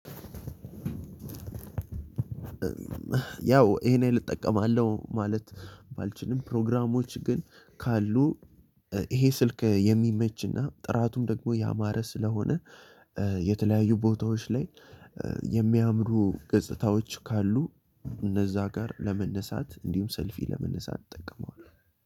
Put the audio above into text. ያው ይሄን እጠቀማለሁ ማለት ባልችልም ፕሮግራሞች ግን ካሉ ይሄ ስልክ የሚመችና ጥራቱም ደግሞ ያማረ ስለሆነ የተለያዩ ቦታዎች ላይ የሚያምሩ ገጽታዎች ካሉ እነዛ ጋር ለመነሳት እንዲሁም ሰልፊ ለመነሳት እጠቀመዋለሁ።